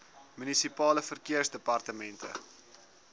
munisipale verkeersdepartemente